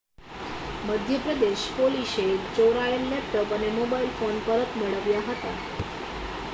મધ્ય પ્રદેશ પોલીશે ચોરાયેલ લેપટોપ અને મોબાઈલ ફોન પરત મેળવ્યા હતા